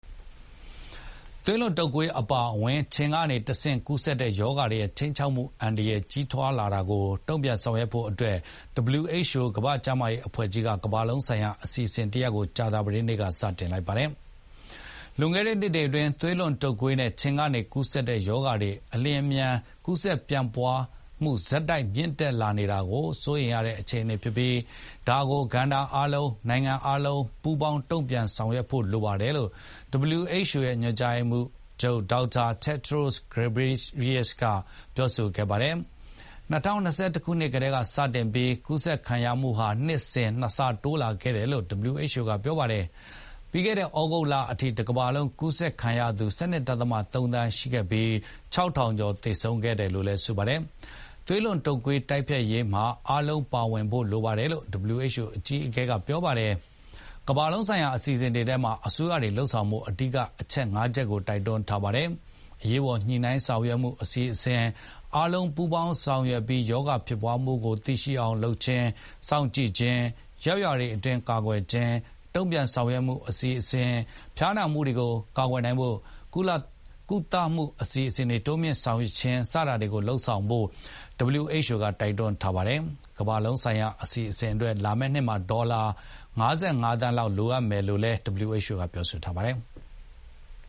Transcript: သွေးလွန်တုပ်ကွေးအပါအဝင် ခြင်နဲ့ ပိုးမွှားတွေကနေတဆင့်ကူးစက်တဲ့ရောဂါတွေရဲ့ ခြိမ်းခြောက်မှုအန္တရာယ် ကြီးထွားလာနေတာကို တုံ့ပြန်ဆောင်ရွက်ဖို့ WHO ကမ္ဘာ့ကျန်းမာရေးအဖွဲ့ကြီးက ကမ္ဘာလုံးဆိုင်ရာအစီအစဉ်တရပ်ကို ကြာသပတေးနေ့က စတင်လိုက်ပါတယ်။ လွန်ခဲ့တဲ့နှစ်တွေအတွင်း သွေးလွန်တုပ်ကွေးနဲ့ခြင်ကနေကူးစက်တဲ့ရောဂါတွေ အလျင်အမြန် ကူးစက်ပြန့်ပွားနှုန်း ဆက်တိုက် မြင့်တက်လာနေတာဟာ အလွန်စိုးရိမ်ရတဲ့အခြေအနေဖြစ်ပြီး ဒါကို ကဏ္ဍအားလုံး၊ နိုင်ငံအားလုံးပူးပေါင်းပြီး တုံ့ပြန်ဆောင်ရွက်ဖို့လိုပါတယ်လို့ WHO ရဲ့ ညွန်ကြားရေးမှူးချုပ် ဒေါက်တာ တက်ဒြို့ ဂက်ဘရေရီးစက် (Dr. Tedros Ghebreyesus) ပြောပါတယ်။ ၂၀၂၁ ခုနှစ်ကတည်းစတင်ပြီး ကူးစက်ခံရမှုဟာ နှစ်စဉ် ၂ ဆတိုးလာခဲ့တယ်လို့ WHO ကဖေါ်ပြပါတယ်။ ပြီးခဲ့တဲ့ သြဂုတ်လအထိ တကမ္ဘာလုံး ကူးဆက်ခံရသူ ၁၂.၃ သန်းရှိခဲ့ပြီး ၆၀၀၀ ကျော်သေဆုံးခဲ့တယ်လို့လည်း ဆိုပါတယ်။ သွေးလွန်တုပ်ကွေးတိုက်ဖျက်ရေးမှာအားလုံးပါဝင်ဖို့လိုပါတယ်လို့ WHO အကြီးအကဲကပြောပါတယ်။ ကမ္ဘာလုံးဆိုင်ရာ အစီစဉ်ထဲမှာ အစိုးရတွေလုပ်ဆောင်ဖို့ အဓိက အချက် ၅ ချက်ကိုတိုက်တွန်းထားပါတယ်။ အရေးပေါ်ညှိနှိုင်း ဆောင်ရွက်မှုအစီစဉ်၊ အားလုံးပူးပေါင်း ဆောင်ရွက်ပြီး ရောဂါဖြစ်ပွားမှုကိုသိရှိအောင်လုပ်ခြင်း၊ စောင့်ကြည့်ခြင်း၊ ရပ်ရွာတွေအတွင်း ကာကွယ်ခြင်း၊ တုံ့ပြန်ဆောင်ရွက်မှုအစီစဉ်၊ ဖျားနာမှုတွေကိုကာကွယ်နိုင်ဖို့ ကုသလမှုတွေကို တိုးမြှင့်လုပ်ဆောင်ခြင်းစတာတွေလုပ်ဆောင်ဖို့ WHO ကတိုက်တွန်းထားပါတယ်။ ဒီကမ္ဘာလုံးဆိုင်ရာအစီစဉ်အတွက် လာမယ့်နှစ်မှာဒေါ်လာ ၅၅ သန်းလောက်လိုအပ်မယ်လို့လည်းပြောဆိုထားပါတယ်။